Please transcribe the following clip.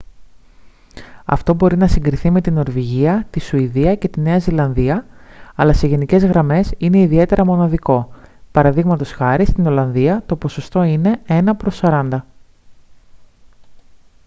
αυτό μπορεί να συγκριθεί με τη νορβηγία τη σουηδία και τη νέα ζηλανδία αλλά σε γενικές γραμμές είναι ιδιαίτερα μοναδικό π.χ. στην ολλανδία το ποσοστό είναι ένα προς σαράντα